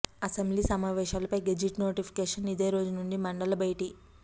assembly సమావేశాలపై gazette notification అదే రోజు నుంచి మండలి భేటీ